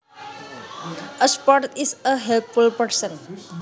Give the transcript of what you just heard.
A sport is a helpful person